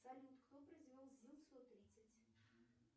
салют кто произвел зил сто тридцать